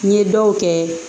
N ye dɔw kɛ